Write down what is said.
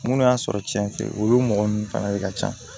Minnu y'a sɔrɔ tiɲɛ fɛ olu mɔgɔ ninnu fana de ka ca